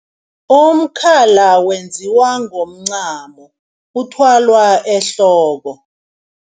Umkhala wenziwa ngomncamo uthwalwa ehloko.